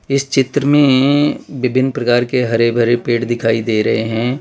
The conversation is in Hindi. इस चित्र में विभिन्न प्रकार के हरे भरे पेड़ दिखाई दे रहे हैं।